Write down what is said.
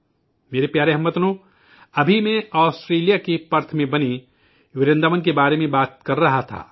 میرے پیارے ہم وطنو، ابھی میں آسٹریلیا کے پرتھ میں واقع ورنداون کی بات کر رہا تھا